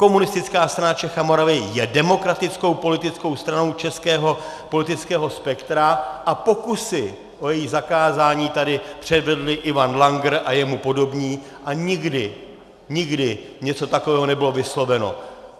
Komunistická strana Čech a Moravy je demokratickou politickou stranou českého politického spektra a pokusy o její zakázání tady předvedli Ivan Langer a jemu podobní a nikdy, nikdy něco takového nebylo vysloveno.